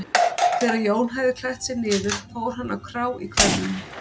Þegar Jón hafði klætt sig niður fór hann á krá í hverfi